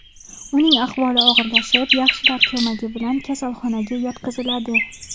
Uning ahvoli og‘irlashib yaxshilar ko‘magi bilan kasalxonaga yotqiziladi.